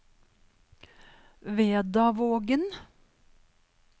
Vedavågen